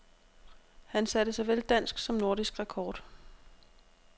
Han satte såvel dansk som nordisk rekord.